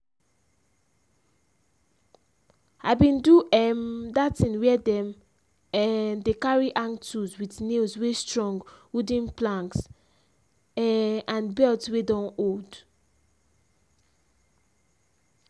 i bin do um that thing where dem um dey carry hang tools with nails wey strongwooden planks um and belt wey don old.